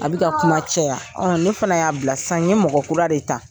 A bɛ ka kuma caya ne fana y'a bila sisan n ye mɔgɔ kura de ta.